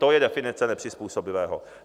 To je definice nepřizpůsobivého.